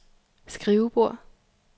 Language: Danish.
skrivebord